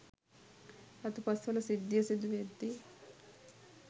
රතුපස්වල සිද්ධිය සිදුවෙද්දී